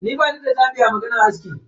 Ni bani da zabi a maganan aski.